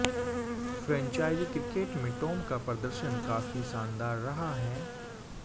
franchise cricket में Tom का प्रदर्शन काफी शानदार रहा है